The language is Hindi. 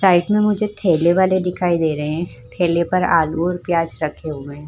साइड में मुझे ठेले वाले दिखाई दे रहे हैं। ठेले पे आलू और प्याज रखे हुए हैं।